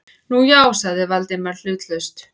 Nú, já- sagði Valdimar hlutlaust.